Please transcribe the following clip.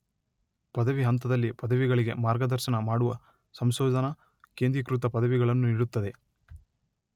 ಪದವಿ ಹಂತದಲ್ಲಿ ಪದವಿಗಳಿಗೆ ಮಾರ್ಗದರ್ಶನ ಮಾಡುವ ಸಂಶೋಧನಾ, ಕೇಂದ್ರೀಕೃತ ಪದವಿಗಳನ್ನು ನೀಡುತ್ತದೆ.